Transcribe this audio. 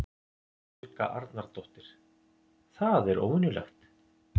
Helga Arnardóttir: Það er óvenjulegt?